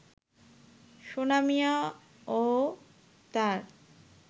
সোনা মিয়া ও তার